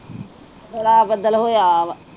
ਬੜਾ ਬੱਦਲ ਹੋਇਆ ਆ ਵਾ